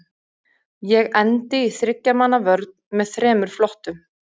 Ég endi í þriggja manna vörn með þremur flottum.